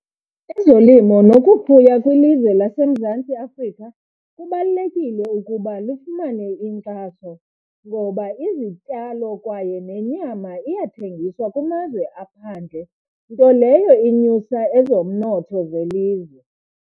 Ezolimo nokufuya kwilizwe laseMzantsi Afrika kubalulekile ukuba lufumane inkxaso ngoba izityalo kwaye nenyama iyathengiswa kumazwe aphandle, nto leyo inyusa ezomnotho zelizwe.